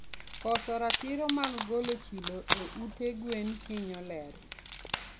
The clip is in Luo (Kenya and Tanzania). Koso ratiro mar golo chilo e ute gwen hinyo ler